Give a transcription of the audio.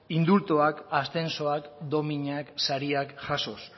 indultuak ascensoak dominak sariak jasoz